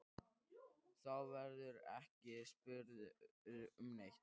Þá verðurðu ekki spurður um neitt.